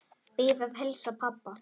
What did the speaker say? Bið að heilsa pabba.